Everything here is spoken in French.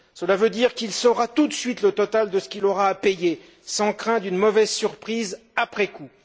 Cela veut dire qu'il saura tout de suite le total de ce qu'il aura à payer, sans crainte d'une mauvaise surprise après coup.